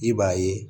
I b'a ye